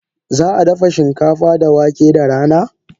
Za a dafa shinkafa da wake da rana?